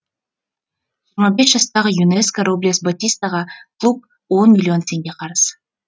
жиырма жастағы юнеска роблес батистаға клуб он миллион теңге қарыз